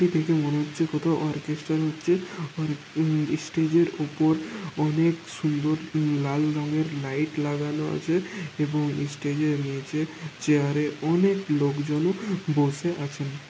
এটি দেখে মনে হচ্ছে কোথাও অরকেসটার হচ্ছে | স্টেজ এর উপর অনেক সুন্দর লাল রঙের লাইট লাগানো আছে এবং স্টেজ এর নিচে চেয়ারে অনেক লোকজনও বসে আছেন।